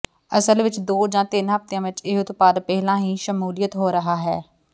ਅਸਲ ਵਿਚ ਦੋ ਜਾਂ ਤਿੰਨ ਹਫ਼ਤਿਆਂ ਵਿਚ ਇਹ ਉਤਪਾਦ ਪਹਿਲਾਂ ਹੀ ਸ਼ਮੂਲੀਅਤ ਹੋ ਰਿਹਾ ਹੈ